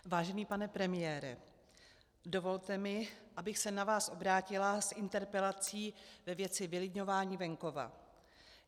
Vážený pane premiére, dovolte mi, abych se na vás obrátila s interpelací ve věci vylidňování venkova.